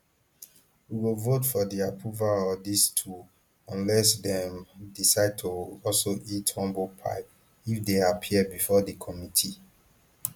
we go vote for di approval of dis two unless dem decide to also eat humble pie if dey appear bifor di committee